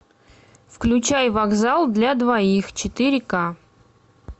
включай вокзал для двоих четыре ка